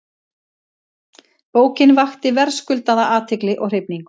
Bókin vakti verðskuldaða athygli og hrifningu.